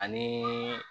Ani